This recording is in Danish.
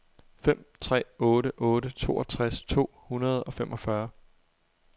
fem tre otte otte toogtres to hundrede og femogfyrre